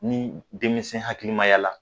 Ni denmisɛn hakililimaya la